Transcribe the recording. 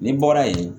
N'i bɔra yen